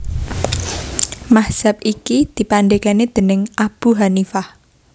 Mazhab iki dipandhégani déning Abu Hanifah